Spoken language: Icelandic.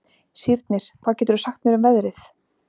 Sírnir, hvað geturðu sagt mér um veðrið?